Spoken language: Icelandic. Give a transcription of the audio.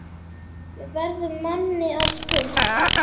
verður manni að spurn.